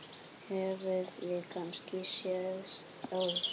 Höfum við kannski sést áður?